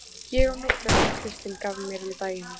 Ég á nokkrar sem Kristín gaf mér um daginn.